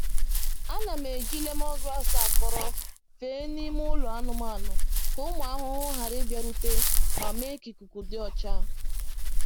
Ana m eji lemongrass akọrọ fee n’ime ụlọ anụmanụ ka ụmụ ahụhụ ghara ịbịarute ma mee ka ikuku dị ọcha.